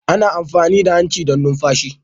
Ana amfani da hanci don numfashi.